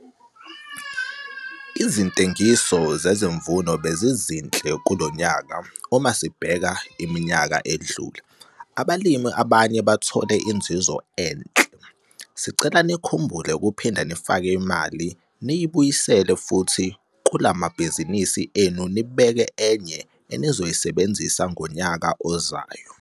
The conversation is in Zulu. Izintengiso zezimvuno bezinhle lo nyaka, uma sibheka iminyaka edlule, abalimi abanye bathole inzuzo enhle. Sicela nikhumbule ukuphinda nifake imali niyibuyisele futhi kula mabhizinisi enu nibeke enye enizoyisebenzisa ngonyaka ozayo.